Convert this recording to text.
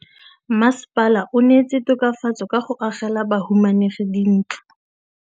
Mmasepala o neetse tokafatsô ka go agela bahumanegi dintlo.